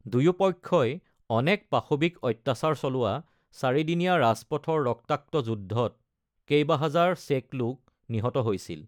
দুয়োপক্ষই অনেক পাশৱিক অত্যাচাৰ চলোৱা চাৰিদিনীয়া ৰাজপথৰ ৰক্তাক্ত যুদ্ধত কেইবাহাজাৰ চেক লোক নিহত হৈছিল।